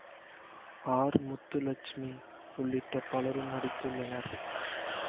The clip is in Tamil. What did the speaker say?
ஆர் முத்துலட்சுமி உள்ளிட்ட பலரும் நடித்துள்ளனர்